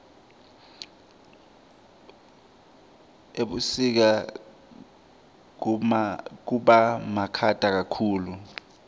ebusika kubamakhata kakhulu